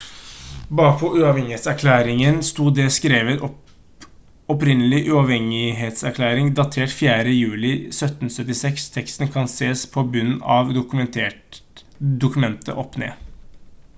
bakpå uavhengighetserklæringen sto det skrevet: «opprinnelig uavhengighetserklæring datert 4. juli 1776». teksten kan sees på bunnen av dokumentet opp ned